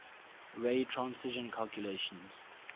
ray transition calculations